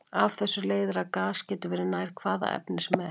Af þessu leiðir að gas getur verið nær hvaða efni sem er.